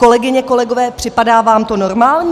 Kolegyně, kolegové, připadá vám to normální?